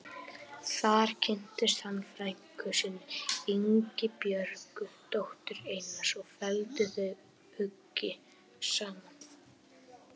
Þar kynntist hann frænku sinni, Ingibjörgu, dóttur Einars og felldu þau hugi saman.